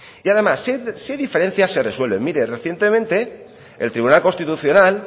y además si hay diferencias se resuelven mire recientemente el tribunal constitucional